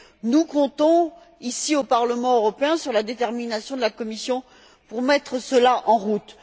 Nous comptons, ici, au Parlement européen, sur la détermination de la Commission à mettre cela en route.